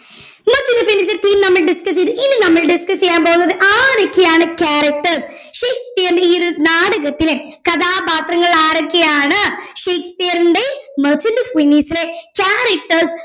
എന്ന പിന്നെ ഇതിന്റെ theme നമ്മൾ discuss ചെയ്തു ഇനി നമ്മൾ discuss ചെയ്യാൻ പോന്നത് ആരൊക്കെയാണ് character ഷേക്സ്പിയറിന്റെ ഈ ഒരു നാടകത്തിലെ കഥാപാത്രങ്ങൾ ആരൊക്കെയാണ് ഷേക്സ്പിയറിന്റെ merchant of venice ലെ characters